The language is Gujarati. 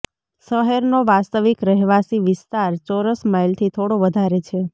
શહેરનો વાસ્તવિક રહેવાસી વિસ્તાર ચોરસ માઇલથી થોડો વધારે છે